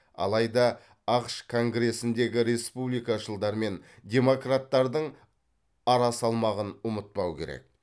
алайда ақш конгресіндегі республикашылдар мен демократтардың арасалмағын ұмытпау керек